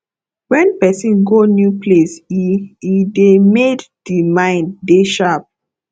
when person go new place e e dey made di mimd dey sharp